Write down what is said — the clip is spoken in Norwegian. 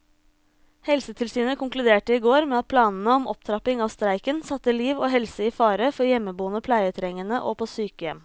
Helsetilsynet konkluderte i går med at planene om opptrapping av streiken satte liv og helse i fare for hjemmeboende pleietrengende og på sykehjem.